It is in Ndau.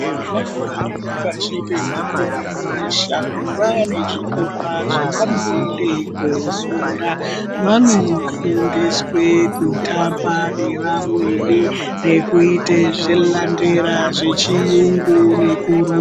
Vana vari pashi pemakore mashanu vane zvikora zvavanoende kofunda. Vanofundiswe kutamba nevamweni nekuite zvilambera zvechiyungu nekurumba.